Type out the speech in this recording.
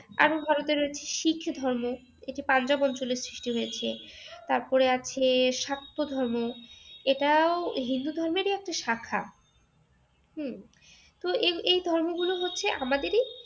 আবার ভারতের রয়েছে শিখ ধর্ম এই যে পাঞ্জাব অঞ্চলে সৃষ্টি হয়েছে তারপরে আছে শাক্ত ধর্ম। এটাও হচ্ছে হিন্দু ধর্মেরই একটা শাখা। হম তো এই ধর্মগুলো হচ্ছে আমাদেরই